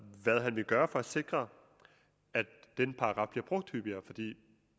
vil gøre for at sikre at den paragraf bliver brugt hyppigere fordi